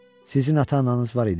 Sizin ata-ananız var idi?